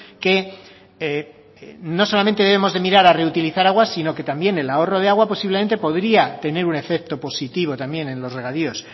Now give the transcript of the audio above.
que no solamente debemos de mirar a reutilizar agua sino que también el ahorro de agua posiblemente podría tener un efecto positivo también en los regadíos